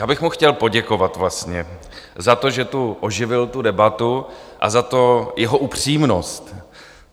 Já bych mu chtěl poděkovat vlastně za to, že tu oživil tu debatu, a za tu jeho upřímnost.